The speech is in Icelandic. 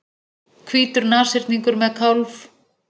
Hvítur nashyrningur með kálf.